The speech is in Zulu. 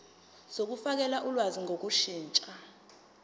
zokufakela ulwazi ngokushintsha